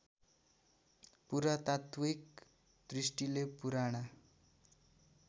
पुरातात्विक दृष्टिले पुराना